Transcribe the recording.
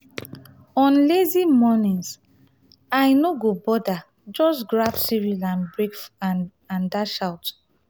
on lazy mornings i no go bother just grab cereal and dash out.